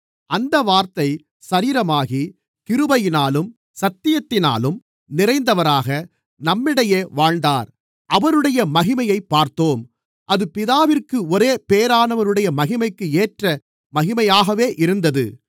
அந்த வார்த்தை சரீரமாகி கிருபையினாலும் சத்தியத்தினாலும் நிறைந்தவராக நம்மிடையே வாழ்ந்தார் அவருடைய மகிமையைப் பார்த்தோம் அது பிதாவிற்கு ஒரே பேறானவருடைய மகிமைக்கு ஏற்ற மகிமையாகவே இருந்தது